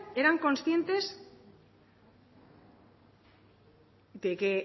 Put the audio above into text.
eran conscientes de que